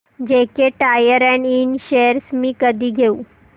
JK tyre and इंड shares मी कधी घेऊ